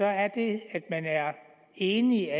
er det at alle er enige